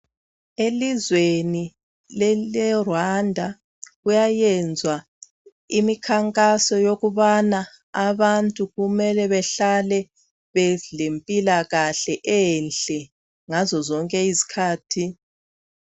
Elizweni le Rwanda kuyayenzwa imikhankaso yokubana abantu kumele behlale belempilakahle enhle ngazo zonke izikhathi.